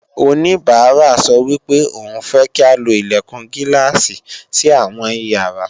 oníbàárà sọ wípé òun fẹ́ kí a lo Ilẹ̀kùn Gíláàsì sí àwọn ìyàrá